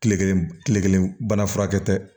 Kile kelen kile kelen bana furakɛ tɛ